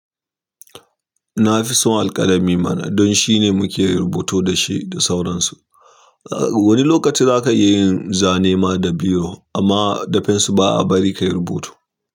Na fi son alƙalami mana don shine muke rubutu da shi da sauransu. Wani lokaci zaka iya yin zane ma da biro amma da pencil ba'a bari kayi rubutu.